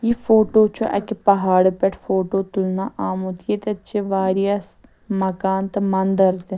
.یہِ فوٹوچُھ اَکہِ پہاڑٕپٮ۪ٹھہٕ فوٹوتُلنہٕ آمُت ییٚتٮ۪تھ چھ واریاہ س مکان تہٕ منٛدرتہِ